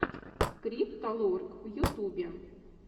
крипто лорк в ютубе